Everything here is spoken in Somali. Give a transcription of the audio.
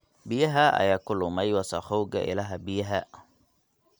Biyaha ayaa ku lumay wasakhowga ilaha biyaha.